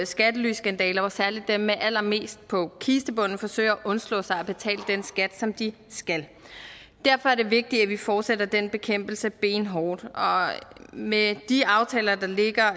skattelyskandaler hvor særlig dem med allermest på kistebunden forsøger at undslå sig at betale den skat som de skal derfor er det vigtigt at vi fortsætter den bekæmpelse benhårdt og med de aftaler der ligger